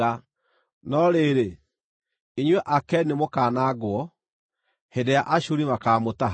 no rĩrĩ, inyuĩ andũ a Akeni nĩmũkanangwo hĩndĩ ĩrĩa Ashuri makaamũtaha.”